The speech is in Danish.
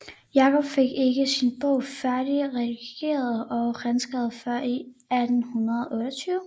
Jakob fik ikke sin bog færdig redigeret og renskrevet før i 1828